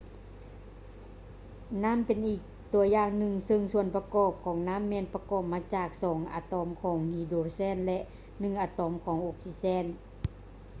ນໍ້ຳເປັນອີກຕົວຢ່າງໜຶ່ງ ຊຶ່ງສ່ວນປະກອບຂອງນໍ້າ ແມ່ນປະກອບມາຈາກສອງອາຕອມຂອງຮີໂດຼແຊນ ແລະ ໜຶ່ງອາໂຕມຂອງອົກຊີເເຊນ